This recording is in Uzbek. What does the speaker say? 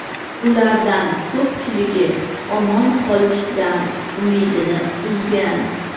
Ulardan ko‘pchiligi omon qolishdan umidini uzgan.